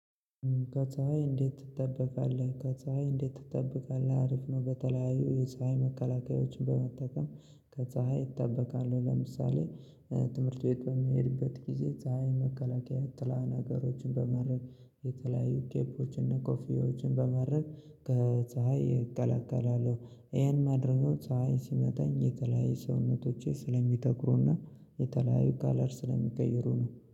ከፀሀይ እንዴት ትጠበቃለህ ከፀሀይ እንዴት ትጠበቃለህ አሪፍ ነው በተለያዩ የፀሀይ መከላከያዎችን በመጠቀም ከፀሀይ እጠበቃለሁ ለምሳሌ ትምህርት ቤት በምሄድበት ጊዜ ፀሀይ መከላከያ ጥላ ነገሮችን በማረግየተለያዩ ኬፖችን እነ ኮፊዎችን በማረግ ከፀሀይ እቀላቀላለሁ ይሄን ማድረጉ ፀሀይ ሲመጣኝ የተለያዩ ሰውነቶቼ ስለሚተኩሩና የተለያዩ ካለር ስለሚቀይሩ ነው።